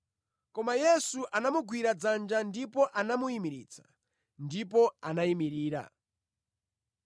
Koma Yesu anamugwira dzanja ndipo anamuyimiritsa, ndipo anayimirira.